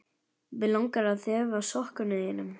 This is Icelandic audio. Mig langar að þefa af sokkum þínum.